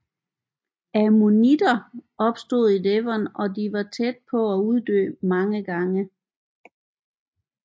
Ammonitter opstod i Devon og de var tæt på at uddø mange gange